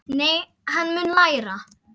Nei, en hann mun læra.